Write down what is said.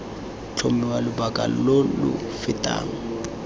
tlhomiwa lobaka lo lo fetang